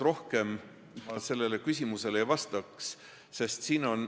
Praegu ma pikemalt sellele küsimusele vahest ei vastaks.